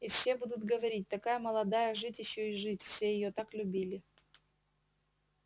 и все будут говорить такая молодая жить ещё и жить все её так любили